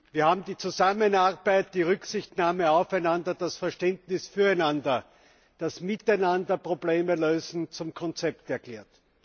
Wir haben die Zusammenarbeit, die Rücksichtnahme aufeinander, das Verständnis füreinander, das Miteinander Probleme Lösen zum Konzept erklärt.